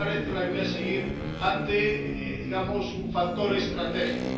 no parece la línea a seguir ante —digamos— un factor estratégico.